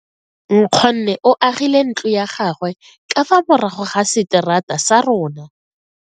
Nkgonne o agile ntlo ya gagwe ka fa morago ga seterata sa rona.